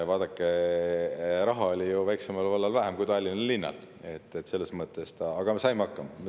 Vaadake, raha oli väiksel vallal ju ka vähem kui Tallinna linnal, aga me saime hakkama.